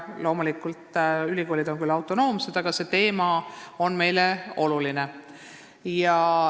Loomulikult, ülikoolid on küll autonoomsed, aga see teema on meile oluline.